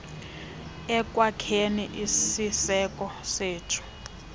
ekwakheni isiseko sethu